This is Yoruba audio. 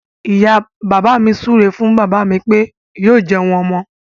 Ìyá bàbá mi súré fún bàbá mí pé yóò jẹun ọmọ.